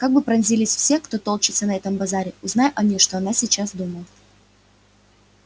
как бы поразились все кто толчётся на этом базаре узнай они что она сейчас думает